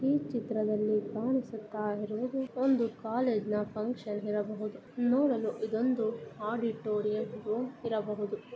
ಈ ಚಿತ್ರದಲ್ಲಿ ಕಾಣಿಸ್ತಾ ಇರುವುದು ಒಂದು ಕಾಲೇಜಿನ ಫಂಕ್ಷನ್ ಇರಬಹುದು. ನೋಡಲು ಇದೊಂದು ಆಡಿಟೋರಿಯಂ ಇರಬಹುದು.